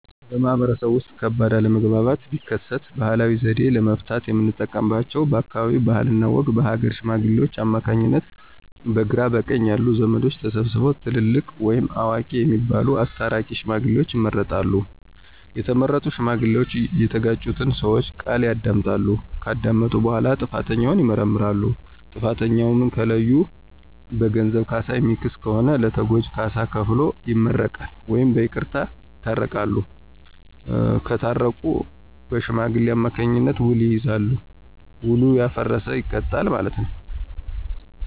በማህበረሰቡ ውስጥ ከባድ አለመግባባት ቢከሰት ባህላዊ ዘዴ ለመፍታት የምንጠቀምባቸው በአካባቢው ባህልና ወግ በሀገረ ሽማግሌዎች አማካኝነት በግራ በቀኝ ያሉ ዘመዶች ተሰብስበው ትልልቅ ወይም አዋቂ የሚባሉት አስታራቂ ሽማግሌዎችን ይመርጣሉ። የተመረጡ ሽማግሌዎች እየተጋጩትን ሰወች ቃል ያዳምጣሉ። ከዳመጡ በኋላ ጥፋተኛውን ይመረምራሉ። ጥፋተኛውን ከለዩ በገንዘብ ካሳ የሚክስ ከሆነ ለተጎጁ ካሳ ከፍሎ ይመረቃል ወይም በይቅርታ ይታረቃሉ። ሳታረቁ በሽማግሌዎች አማካኝነት ዉል ይያያዛል። ዉሉ ያፈረሰ ይቀጣል ማለት ነው።